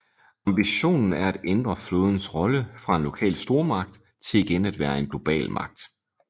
Ambitionen er at ændre flådens rolle fra en lokal stormagt til igen at være en global magt